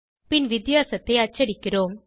பின் வித்தியாசத்தை அச்சடிக்கிறோம்